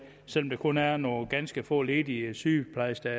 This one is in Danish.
selv om der kun er nogle ganske få ledige sygeplejersker